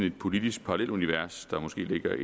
et politisk parrallelunivers der måske ligger